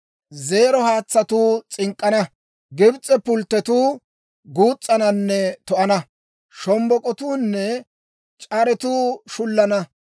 Zeero haatsatuu s'ink'k'ana; Gibs'e pulttotuu guus's'ananne to"ana. Shombbok'otuunne c'aretuu shullana;